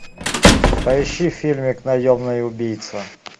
поищи фильмик наемный убийца